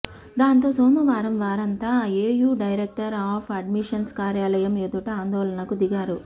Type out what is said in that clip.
దాంతో సోమవారం వారంతా ఏయూ డైరెక్టర్ ఆఫ్ అడ్మిషన్స్ కార్యాలయం ఎదుట ఆందోళనకు దిగారు